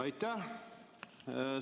Aitäh!